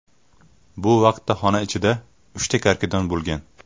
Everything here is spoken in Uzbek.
Bu vaqtda xona ichida uchta karkidon bo‘lgan.